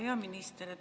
Hea minister!